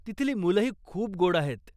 तिथली मुलंही खूप गोड आहेत.